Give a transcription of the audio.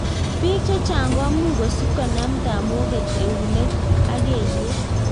Biik chechang komuch kosib konam tamoget eunek ak kelyek